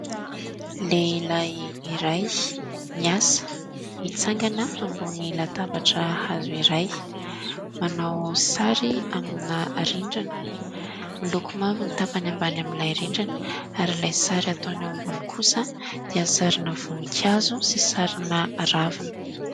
Lehilahy iray miasa, mitsangana ambony latabatra hazo iray, manao sary amina rindrina, miloko mavo ny tapany ambany amin'ilay rindrina ary ilay sary ataony eo ambony kosa dia sarina voninkazo sy sarina ravina.